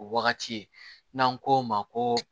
O wagati ye n'an ko o ma ko